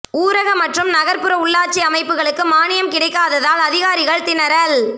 ஊரக மற்றும் நகா்புற உள்ளாட்சி அமைப்புகளுக்கு மானியம் கிடைக்காததால் அதிகாரிகள் திணறல்